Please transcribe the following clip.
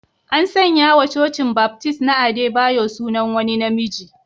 An sanya wa Cocin Baptist na Adebayo sunan wani na miji